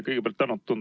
Kõigepealt tänan!